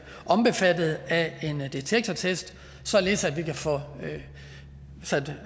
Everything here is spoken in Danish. omfattet af en detektortest således at vi kan få sat